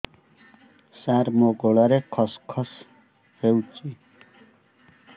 ସାର ମୋ ଗଳାରେ ଖସ ଖସ ହଉଚି